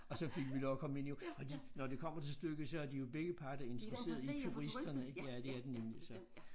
Og så fik vi lov at komme ind jo og de når det kommer til stykket så er de jo begge parter interesseret i turisterne ik ja det er de nemlig så